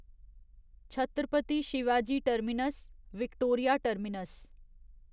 Chhatrapati Shivaji terminus Victoria terminus